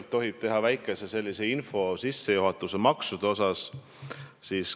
Kui tohib, siis teen kõigepealt väikese sissejuhatuse maksude teemal.